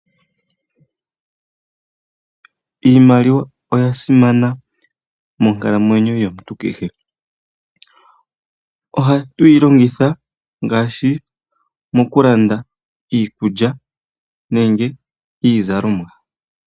Iimaliwa oya simana monkalamwenyo yomuntu kehe. Ohatu yi longitha ngaashi moku landa iikulya nenge iizalomwa.